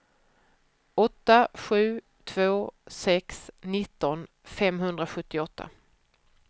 åtta sju två sex nitton femhundrasjuttioåtta